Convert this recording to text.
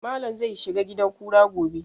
Malam zai shiga gidan kura gobe